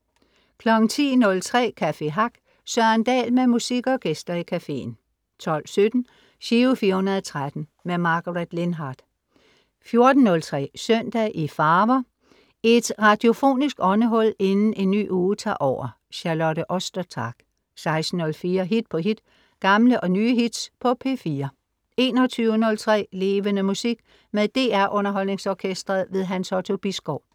10.03 Café Hack. Søren Dahl med musik og gæster i caféen 12.17 Giro 413. Margaret Lindhardt 14.03 Søndag i farver. Et radiofonisk åndehul inden en ny uge tager over. Charlotte Ostertag 16.04 Hit på hit. Gamle og nye hits på P4 21.03 Levende Musik. Med DR Underholdningsorkestret. Hans Otto Bisgaard